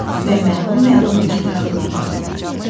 Və məlum-məlum ətrafına baxdı.